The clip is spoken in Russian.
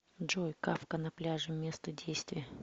джой кафка на пляже место действия